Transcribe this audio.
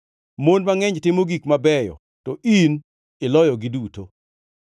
“Mon mangʼeny timo gik mabeyo, to in iloyogi duto.”